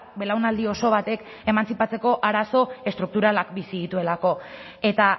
belaunaldi oso batek emantzipatzeko arazo estrukturalak bizi dituelako eta